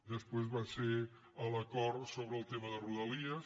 després va ser l’acord sobre el tema de rodalies